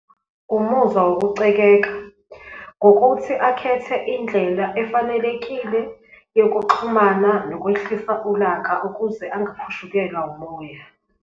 Umuzwa yokucekeka ngokuthi akhethe indlela efanelekile yokuxhumana nokwehlisa ulaka ukuze angakhushukelwa umoya.